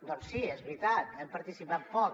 doncs sí és veritat hi hem participat poc